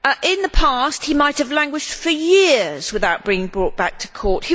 In the past, he might have languished for years without being brought back to court.